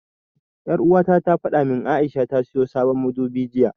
Ƴar'uwata ta fada min cewa A'isha ta siyo sabon madubi jiya.